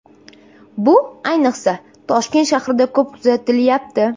Bu ayniqsa, Toshkent shahrida ko‘p kuzatilyapti.